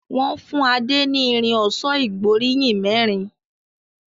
Wón fún Ade ní Irin ọ̀ṣọ́ ìgbóríyìn mérin.